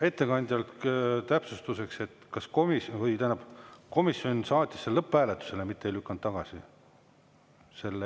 Ettekandjale täpsustuseks, et komisjoni saatis selle eelnõu lõpphääletusele, mitte ei lükanud tagasi.